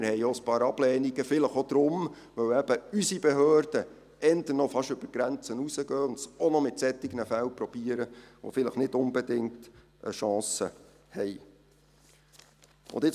Wir haben auch ein paar Ablehnungen erhalten, vielleicht auch deshalb, weil unsere Behörden eher noch über die Grenzen hinausgehen und es auch noch mit Fällen versuchen, die vielleicht nicht unbedingt eine Chance haben.